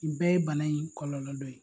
Nin bɛɛ ye bana in kɔlɔnlɔ dɔ ye.